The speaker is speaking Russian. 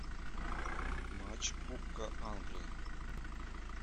матч кубка англии